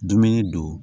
Dumuni don